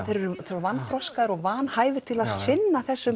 þeir eru vanþroskaðir og vanhæfir til að sinna þessum